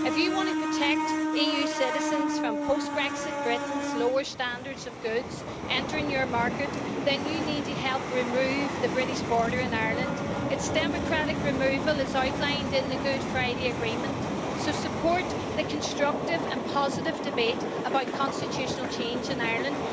If you want to protect EU citizens from post-Brexit Britain's lower standard of goods entering your market, then you need to help remove the British border in Ireland. Its democratic removal is outlined in the Good Friday Agreement, so support the constructive and positive debate about constitutional change in Ireland.